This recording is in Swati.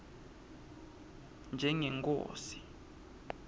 njengenkhosi